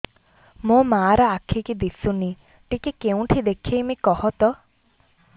ମୋ ମା ର ଆଖି କି ଦିସୁନି ଟିକେ କେଉଁଠି ଦେଖେଇମି କଖତ